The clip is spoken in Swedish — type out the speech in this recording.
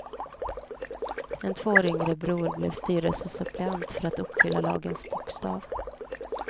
En två år yngre bror blev styrelsesuppleant, för att uppfylla lagens bokstav.